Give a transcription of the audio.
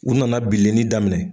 U nana bilenni daminɛ.